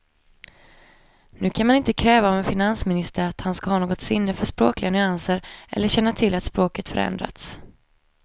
Nu kan man inte kräva av en finansminister att han ska ha något sinne för språkliga nyanser eller känna till att språket förändrats.